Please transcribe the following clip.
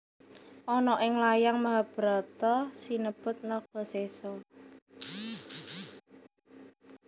Ana ing layang Mahabharata sinebut Nagasesa